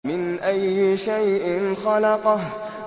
مِنْ أَيِّ شَيْءٍ خَلَقَهُ